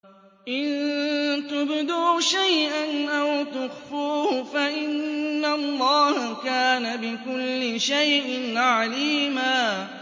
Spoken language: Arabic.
إِن تُبْدُوا شَيْئًا أَوْ تُخْفُوهُ فَإِنَّ اللَّهَ كَانَ بِكُلِّ شَيْءٍ عَلِيمًا